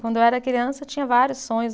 Quando eu era criança, eu tinha vários sonhos.